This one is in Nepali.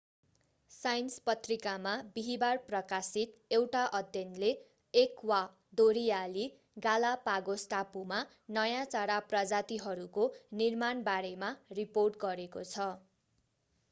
साइन्स पत्रिकामा बिहीबार प्रकाशित एउटा अध्ययनले एक्वादोरियाली गालापागोस टापुमा नयाँ चरा प्रजातिहरूको निर्माण बारेमा रिपोर्ट गरेको छ